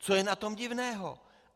Co je na tom divného?